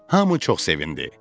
Hamı çox sevindi.